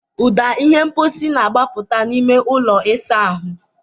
Ụda ihe mposi na-agbapụta n'ime ụlọ ịsa ahụ.